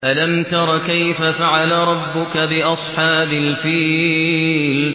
أَلَمْ تَرَ كَيْفَ فَعَلَ رَبُّكَ بِأَصْحَابِ الْفِيلِ